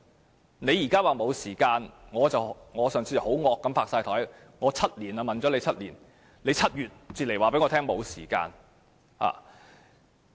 政府現在說沒有時間，我上次很激動地拍檯說，我問了政府7年，它7月才告訴我沒有時間。